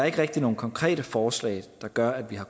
ikke rigtig nogen konkrete forslag der gør at vi har